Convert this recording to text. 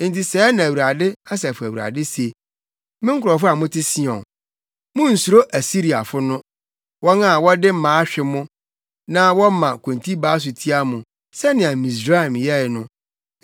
Enti sɛɛ na Awurade, Asafo Awurade se, “Me nkurɔfo a mote Sion, munnsuro Asiriafo no, wɔn a wɔde mmaa hwe mo na wɔma kontibaa so tia mo, sɛnea Misraim yɛe no.